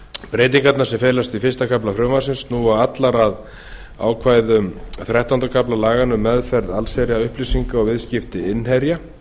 breytingarnar sem felast í fyrsta kafla frumvarpsins snúa allar að ákvæðum þrettánda kafla laganna um meðferð innherjaupplýsinga og viðskipti innherja